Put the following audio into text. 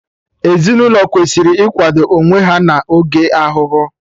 Ezinaụlọ kwesịrị ikwado onwe ha na oge ahụhụ